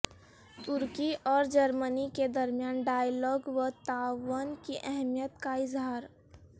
ترکی اور جرمنی کے درمیان ڈائیلاگ و تعاون کی اہمیت کا اظہار